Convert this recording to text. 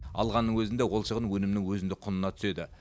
алғанның өзінде ол шығын өнімнің өзіндік құнына түседі